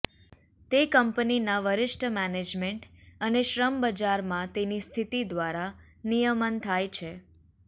તે કંપનીના વરિષ્ઠ મેનેજમેન્ટ અને શ્રમ બજારમાં તેની સ્થિતિ દ્વારા નિયમન થાય છે